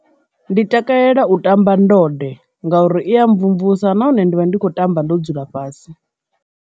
Ndi takalela u tamba ndode ngauri i ya mvumvusa nahone ndi vha ndi kho tamba ndo dzula fhasi.